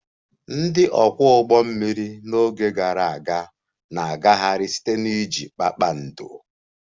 Ndị ọkwọ ụgbọ mmiri n'oge gara aga na-agagharị site na iji kpakpando